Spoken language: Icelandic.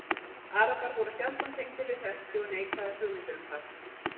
Arabar voru sjaldan tengdir við Serki og neikvæðar hugmyndir um þá.